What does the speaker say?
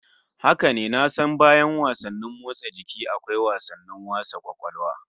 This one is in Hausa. Haka ne, na san bayan wasanni motsa jiki akwa wasannin wasa kwakwalwa